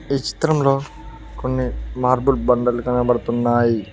ఈ చిత్రంలో కొన్ని మార్బుల్ బండలు కనబడుతున్నాయి.